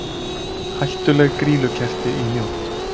Hættuleg grýlukerti í Mjódd